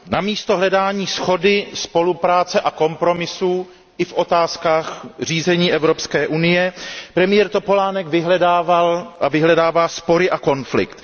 Namísto hledání shody, spolupráce a kompromisů i v otázkách řízení Evropské unie premiér Topolánek vyhledával a vyhledává spory a konflikt.